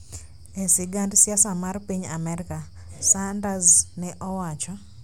e sigand siasa mar piny Amerka," Sanders ne owacho.